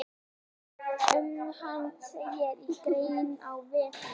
Um hann segir í grein á vef Lyfju.